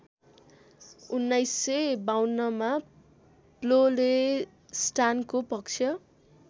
१९५२मा प्लोलेस्टानको पक्ष